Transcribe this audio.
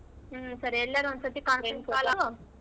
ಹ್ಮ್ ಸರಿ ಎಲ್ಲರು ಒಂದ್ ಸತಿ conference call.